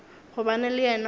gobane le yena o be